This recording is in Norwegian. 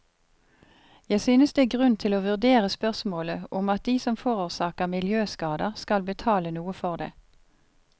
Jeg synes det er grunn til å vurdere spørsmålet om at de som forårsaker miljøskader, skal betale noe for det.